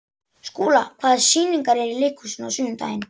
Skúla, hvaða sýningar eru í leikhúsinu á sunnudaginn?